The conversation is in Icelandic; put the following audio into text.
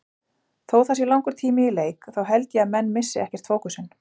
Þó það sé langur tími í leik þá held ég að menn missi ekkert fókusinn.